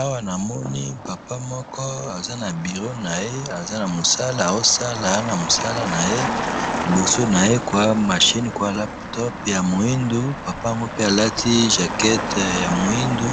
awa namoni papa moko aza na bureau naye aza namusala azo sala na musala naye liboso naye kua machine kua latop ya muindu papa moko alandi jacket ya muindu